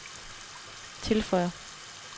tilføjer